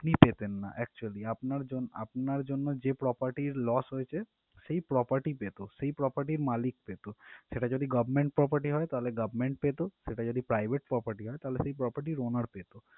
আপনি পেতেন না actually আপনার জন~ আপনার জন্য যে property loss হয়েছে সে ই property পেত সেই property র মালিক পেত সেটা যদি government property হতো তাহলে government পেত আর যদি private property হতো তাহলে সে property owner পেত।